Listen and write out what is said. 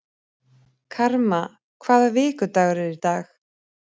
Karma, hvaða vikudagur er í dag?